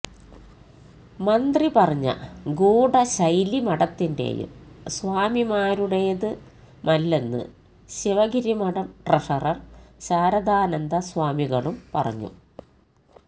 മന്ത്രി പറഞ്ഞ ഗൂഢ ശൈലി മഠത്തിന്റേയും സ്വാമിമാരുടേതുമല്ലെന്ന് ശിവഗിരി മഠം ട്രഷറര് ശാരദാനന്ദ സ്വാമികളും പറഞ്ഞു